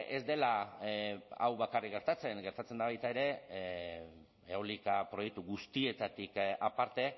ez dela hau bakarrik gertatzen gertatzen da baita ere eolika proiektu guztietatik aparte